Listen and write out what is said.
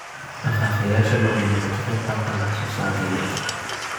Dhaqaaqayaasha lo'du waxay ka qayb qaataan wax soo saarka hilibka.